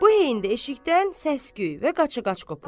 Bu heydə eşikdən səs-küy və qaça-qaç qopur.